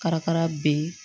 Karakara be yen